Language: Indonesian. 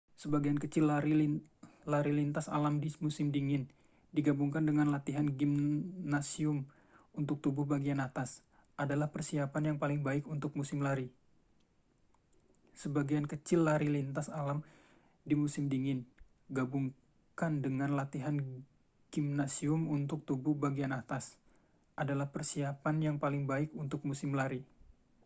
sebagian kecil lari lintas alam di musim dingin digabungkan dengan latihan gimnasium untuk tubuh bagian atas adalah persiapan yang paling baik untuk musim lari